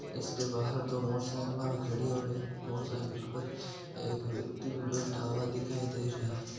इसके बाहर दो मोटर साईकिल भी खड़ी है और एक मोटर सायकल पर एक व्यक्ति भी बैठा हुआ दिखाय दे रहा है।